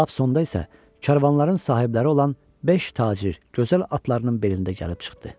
Lap sonda isə karvanların sahibləri olan beş tacir gözəl atlarının belində gəlib çıxdı.